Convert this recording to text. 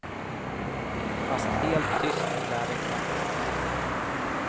Fast helt tyst lär det knappast bli.